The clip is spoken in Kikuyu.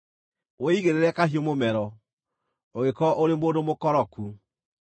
wĩigĩrĩre kahiũ mũmero ũngĩkorwo ũrĩ mũndũ mũkoroku.